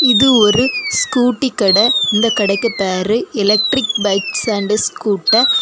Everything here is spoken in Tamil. இது ஒரு ஸ்கூட்டி கடை இந்த கடைக்கு பேரு எலக்ட்ரிக் பைக்ஸ் அண்ட் ஸ்கூட்டர் .